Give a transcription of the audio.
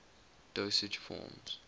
dosage forms